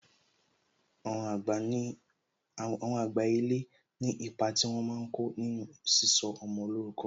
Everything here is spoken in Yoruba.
Àwọn àgbà ilé ní ipa tí wọn máa ko nínú sísọ ọmọ lórúkọ